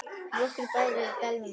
Nokkrir bæir eru í dalnum.